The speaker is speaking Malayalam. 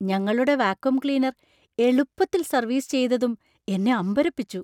ഞങ്ങളുടെ വാക്വം ക്ലീനർ എളുപ്പത്തിൽ സർവീസ് ചെയ്തതും എന്നെ അമ്പരപ്പിച്ചു.